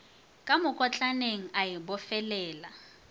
ka mokotlaneng a o bofelela